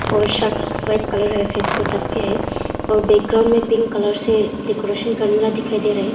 और shirt white colour है face को ढक के है और बैकग्राउंड में पिंक कलर से डेकोरेशन करना दिखाई दे रहा है।